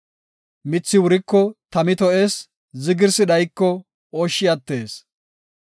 Mithi wuriko tami to7ees; zigirsi dhayiko ooshshi attees.